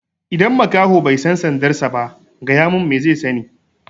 Idan makaho bai san sandar sa ba, gaya mun me zai sani?